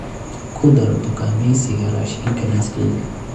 ku dar dukaamaysiga raashinka liiskayga